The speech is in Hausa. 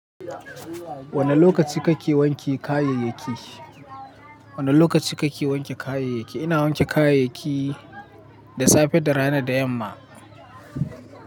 Wane lokaci kake wanke kayayyaki? Wane lokaci kake wanke kayayyaki? Ina wanke kayayyaki da safe da rana da yamma.